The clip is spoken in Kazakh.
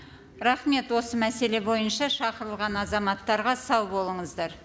рахмет осы мәселе бойынша шақырылған азаматтарға сау болыңыздар